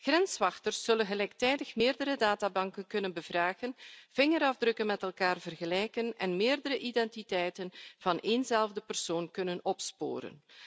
Grenswachters zullen gelijktijdig meerdere databanken kunnen raadplegen, vingerafdrukken met elkaar vergelijken en meerdere identiteiten van eenzelfde persoon kunnen opsporen.